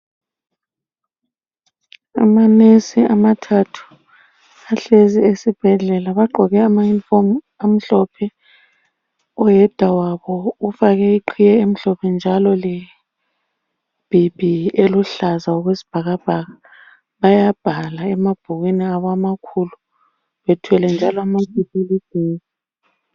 Amanesi amathathu ahlezi esibhedlela ,bagqoke amayunifomu amhlophe .Oyedwa wabo ufake iqiye emhlophe njalo lebhibhi eluhlaza okwesibhakabhaka. Bayabhala emabhukwini abo amakhulu bethwele njalo amaphepha.